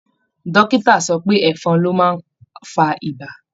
Dọ́kítà sọ pé ẹ̀fọn ló má ań fa ibà.